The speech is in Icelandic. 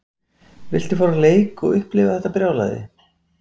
Viltu fara á leik og upplifa þetta brjálæði?